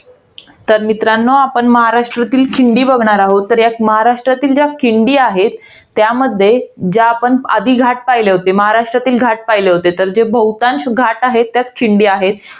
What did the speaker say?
तर मित्रांनो आपण महाराष्ट्रातील खिंडी बघणार आहोत. तर यात महाराष्ट्रातील ज्या खिंडी आहेत. ज्यामध्ये, आधी आपण घाट पहिले होते. महाराष्ट्रातील घाट पहिले होते. तर बहुतांश घाट आहेत त्यात खिंडी आहेत.